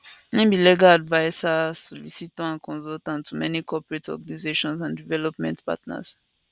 im be legal adviser solicitor and consultant to many corporate organizations and development partners